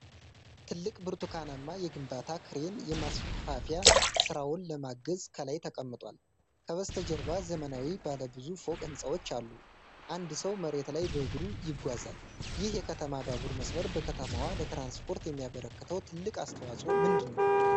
ትልቅ ብርቱካናማ የግንባታ ክሬን የማስፋፊያ ሥራውን ለማገዝ ከላይ ተቀምጧል። ከበስተጀርባ ዘመናዊ ባለ ብዙ ፎቅ ሕንፃዎች አሉ፣ አንድ ሰው መሬት ላይ በእግሩ ይጓዛል። ይህ የከተማ ባቡር መስመር በከተማዋ ለትራንስፖርት የሚያበረክተው ትልቅ አስተዋፅዖ ምንድን ነው?